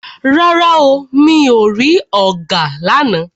Rárá o, mi ò rí ọ̀gà lána.